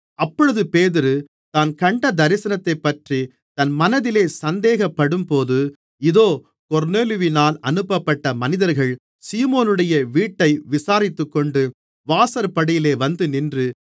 அப்பொழுது பேதுரு தான் கண்ட தரிசனத்தைப்பற்றி தன் மனதில் சந்தேகப்படும்போது இதோ கொர்நேலியுவினால் அனுப்பப்பட்ட மனிதர்கள் சீமோனுடைய வீட்டை விசாரித்துக்கொண்டு வாசற்படியிலே வந்துநின்று